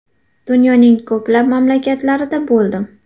Dunyoning ko‘plab mamlakatlarida bo‘ldim.